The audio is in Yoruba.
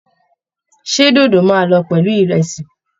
Ṣé dódó máa lọ pẹ̀lú ìrẹ̀sì?